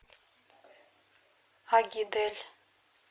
агидель